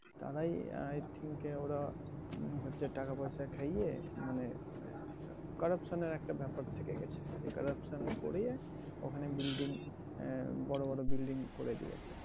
তারাই I think ওরা হম হচ্ছে টাকা পয়সা খাইয়ে মানে corruption এর একটা ব্যাপার থেকে গেছে। এই corruption করিয়ে ওখানে building আহ বড় বড় building করে দিয়েছে।